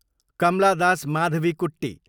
Kamala Das, Madhavikutty